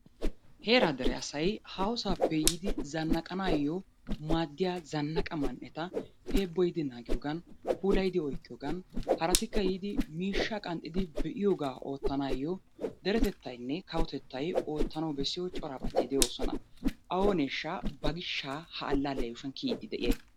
Heeraa dere asay haahosaappe yiidi zannaqanaayyo maaddiya zannaqa man'eta heebboyidi naagiyogan puulayidi oyiqqiyogan haratikka yiidi miishshaa qanxxidi be'iyogaa oottanaayo deretettayinne kawotettay oottanawu bessiyo corabati de'oosona. Ooneeshsha ba goshshaa ha allaalliya yuushuwan kiyiiddi de'iyay?